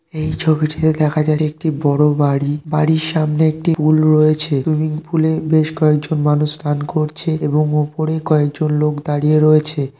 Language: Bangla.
এই ছবিটিতে দেখা যার একটি বড়ো বাড়ি বাড়ির সামনে একটি পুল রয়েছে সুইমিংপুল এ বেশ কয়েকজন মানুষ চান করছে-এ এবং উপরে কয়েকজন লোক দাঁড়িয়ে রয়েছে-এ।